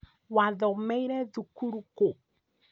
Wathomeire thukuru kũ?